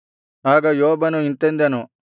ಆಗ ಯೋಬನು ಇಂತೆಂದನು